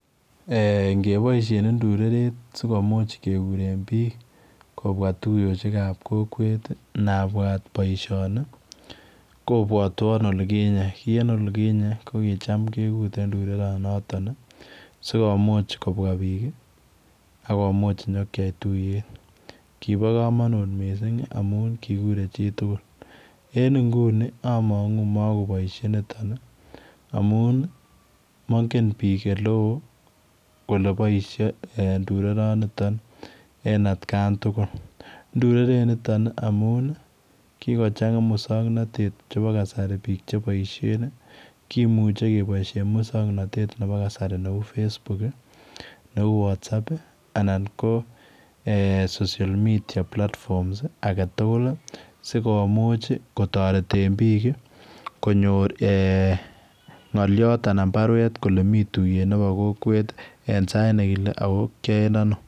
Eeh kebaisheen ndureret sikomuuch kegureen biik kobwaa tuyosuek ab kokweet ii inabwaat boisioni kobwatwaan olikinyei kii en olikinyei ko kuchaam kegureen ndureret notoon ii sikomuuch kobwa biik akomuuch inyokeyai tuyeet Kobo kamanut missing amuun ii kiguren chii tugul en nguni ii amangu makoboisie nitoon ii amuun ii mangeen biik ele wooh kole boisiet eeh ndureret raan nitoon en at kaan tugul ndureret notoon amuun ii kigochanga musangnatet nebo kasari biik che boisien kimuchei kebaisheen musangnatet nebo kasari neu [Facebook] ii neuu [whataapp] ii anan ko [social media platforms ] age tugul ii sikomuuch ii kotareteen biik ii konyoor eeh ngaliot anan baruet kole Mii tuyeet en sait nekile ako koyaen ano.